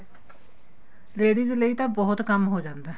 ladies ਲਈ ਤਾਂ ਬਹੁਤ ਕੰਮ ਹੋ ਜਾਂਦਾ